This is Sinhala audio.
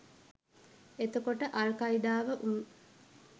එතකොට අල් කයිඩාව උන්